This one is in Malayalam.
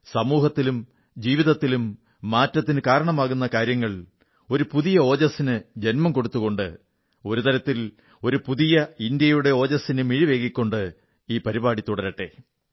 സമൂഹത്തിലും ജീവിതത്തിലും മാറ്റത്തിനു കാരണമാകുന്ന കാര്യങ്ങൾ ഒരു പുതിയ ഓജസ്സിന് ജന്മം കൊടുത്തുകൊണ്ട് ഒരു തരത്തിൽ ഒരു പുതിയ ഇന്ത്യയുടെ ഓജസ്സിന് മിഴിവേകിക്കൊണ്ട് ഈ പരിപാടി തുടരട്ടെ